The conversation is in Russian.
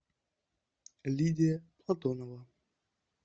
лидия платонова